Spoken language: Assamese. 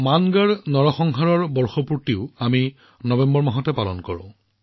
নৱেম্বৰ মাহত আমি মংগধ হত্যাকাণ্ডৰ বৰ্ষপূৰ্তিও পালন কৰো